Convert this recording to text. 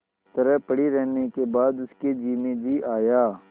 तरह पड़ी रहने के बाद उसके जी में जी आया